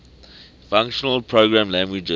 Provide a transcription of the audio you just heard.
functional programming languages